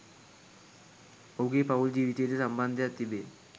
ඔහුගේ පවුල් ජීවිතයේ ද සම්බන්ධයක්‌ තිබේ